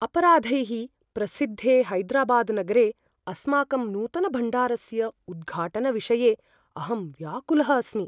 अपराधैः प्रसिद्धे हैदराबादनगरे अस्माकं नूतनभण्डारस्य उद्घाटनविषये अहं व्याकुलः अस्मि।